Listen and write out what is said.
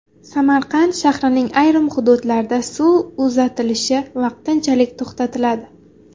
Samarqand shahrining ayrim hududlarida suv uzatilishi vaqtinchalik to‘xtatiladi.